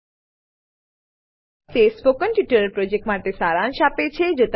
httpspoken tutorialorgWhat is a Spoken tutorial તે spoken tutorial પ્રોજેક્ટનો સારાંશ આપે છે